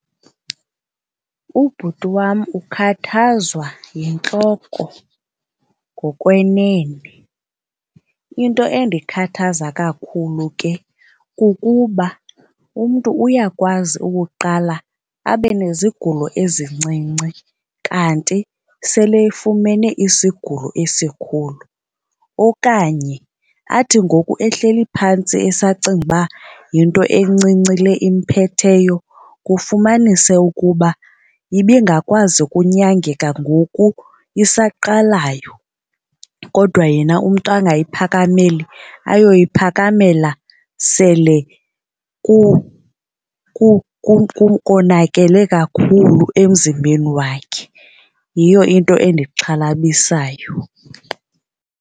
Ubhuti wam ukhathazwa yintloko ngokwenene. Into endikhathaza kakhulu ke kukuba umntu uyakwazi ukuqala abe nezigulo ezincinci kanti sele efumene isigulo esikhulu. Okanye athi ngoku ehleli phantsi esacinga uba yinto encinci le imphetheyo kufumanise ukuba ibingakwazi ukunyangeka ngoku isaqalayo kodwa yena umntu angayiphakameli ayoyiphakamela sele konakele kakhulu emzimbeni wakhe. Yiyo into endixhalabisayo.